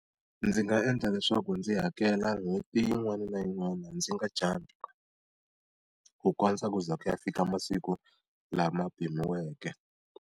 Ndzi nga endla leswaku ndzi hakela n'hweti yin'wana na yin'wana ndzi nga jump-i. Ku kondza ku za ku ya fika masiku lama pimiweke.